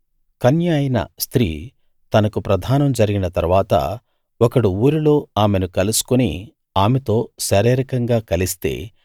కన్య అయిన స్త్రీ తనకు ప్రదానం జరిగిన తరువాత ఒకడు ఊరిలో ఆమెను కలుసుకుని ఆమెతో శారీరకంగా కలిస్తే